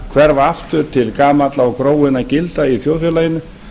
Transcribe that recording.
hverfa aftur til gamalla og gróinna gilda í þjóðfélaginu